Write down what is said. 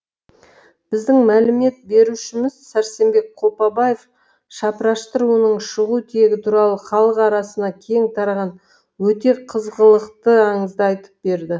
біздің мәлімет берушіміз сәрсенбек қопабаев шапырашты руының шығу тегі туралы халық арасына кең тараған өте қызғылықты аңызды айтып берді